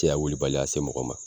A cɛya wulibaliya se mɔgɔ ma.